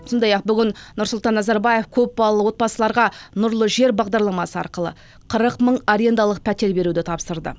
сондай ақ бүгін нұрсұлтан назарбаев көп балалық отбасыларға нұрлы жер бағдарламасы арқылы қырық мың арендалық пәтер беруді тапсырды